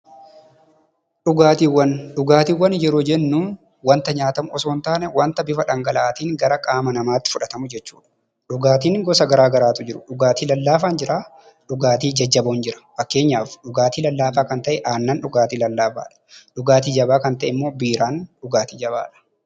Dhugaatiiwwan waanta nyaatamu osoo hin taane, waanta bifa dhangala'aatiin qaama namatti fudhatamudha. Dhugaatiin gosa garaagaraatu jiru dhugaatiin jajjaboon jiru dhugaatii lallaafaa kan ta'e aannan dhugaatii jabaa kan ta'e immoo biiraan dhugaatii jabaadha.